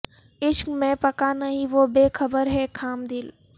عشق میں پکا نہیں وہ بے خبر ہے خام دل